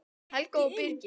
Helga og Birgir.